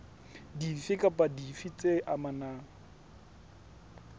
dife kapa dife tse amanang